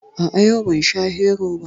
A'a, yau ban sha Hero ba